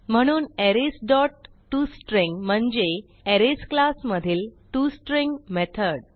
म्हणून arrays dot tostring म्हणजे arrays class मधीलtoString मेथड